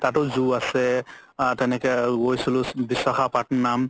তাতও zoo আছে আ তেনেকে আৰু গৈছিলো ভিছাখাপট্নম